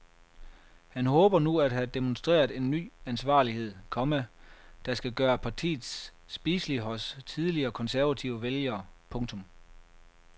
Han håber nu at have demonstreret en ny ansvarlighed, komma der skal gøre partiet spiseligt hos tidligere konservative vælgere. punktum